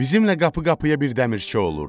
Bizimlə qapı-qapıya bir dəmirçi olurdu.